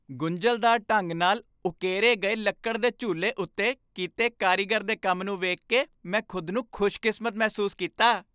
ਗੁੰਝਲਦਾਰ ਢੰਗ ਨਾਲ ਉਕੇਰੇ ਗਏ ਲੱਕੜ ਦੇ ਝੂਲੇ ਉੱਤੇ ਕੀਤੇ ਕਾਰੀਗਰ ਦੇ ਕੰਮ ਨੂੰ ਵੇਖ ਕੇ ਮੈਂ ਖੁਦ ਨੂੰ ਖੁਸ਼ਕਿਸਮਤ ਮਹਿਸੂਸ ਕੀਤਾ।